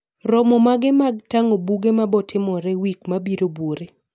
Romo mage mag tang'o buge mabotimore wik mabiro buore